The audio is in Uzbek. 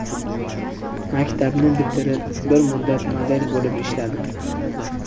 Maktabni bitirib, bir muddat model bo‘lib ishladim.